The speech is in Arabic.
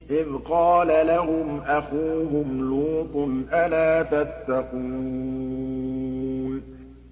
إِذْ قَالَ لَهُمْ أَخُوهُمْ لُوطٌ أَلَا تَتَّقُونَ